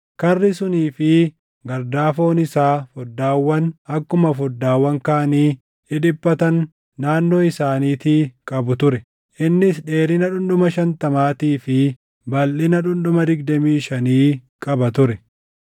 Karri sunii fi gardaafoon isaa foddaawwan akkuma foddaawwan kaanii dhidhiphatan naannoo isaaniitii qabu ture. Innis dheerina dhundhuma shantamaatii fi balʼina dhundhuma digdamii shanii qaba ture.